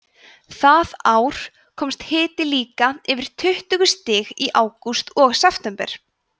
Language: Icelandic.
það ár komst hiti líka yfir tuttugu stig í ágúst og september